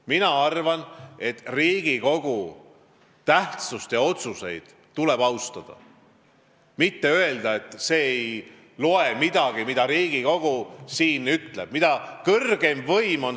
Mina arvan, et Riigikogu tähtsust ja otsuseid tuleb austada, mitte öelda, et see ei loe midagi, mida ütleb Riigikogu, mille on valinud kõrgeim võim.